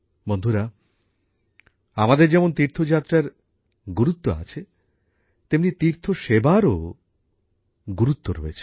বন্ধুরা আমাদের যেমন তীর্থযাত্রার গুরুত্ব আছে তেমনি তীর্থসেবারও গুরুত্বও রয়েছে